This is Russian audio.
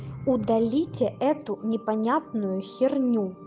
удалите эту непонятную херню